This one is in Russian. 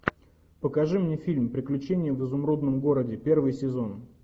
покажи мне фильм приключения в изумрудном городе первый сезон